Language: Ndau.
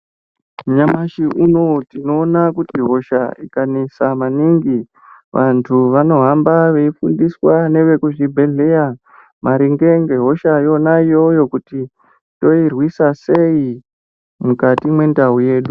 Nyamashi unowo tinoona kuti hosha inganesa maningi vantu vanohamba veifundiswa neve kuchibhehleya maringe nge hosha yona iyoyo kuti toirwisa sei mukati mwendau yedu.